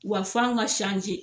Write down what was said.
Wa f'anw ka sanze